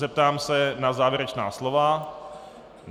Zeptám se na závěrečná slova.